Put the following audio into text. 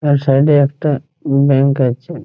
তার সাইড -এ একটা ব্যাঙ্ক আছে ।